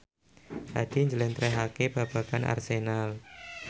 Hadi njlentrehake babagan Arsenal